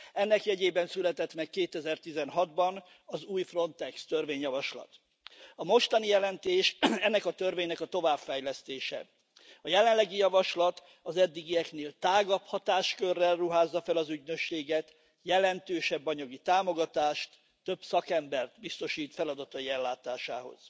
Ennek jegyében született meg 2016 ban az új Frontex törvényjavaslat. A mostani jelentés ennek a törvénynek a továbbfejlesztése. A jelenlegi javaslat az eddigieknél tágabb hatáskörrel ruházza fel az ügynökséget, jelentősebb anyagi támogatást, több szakembert biztosít feladatai ellátásához.